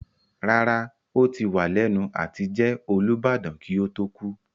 Rárá, ó ti wà lẹ́nu àtijẹ Olubadan kí ó tó kú.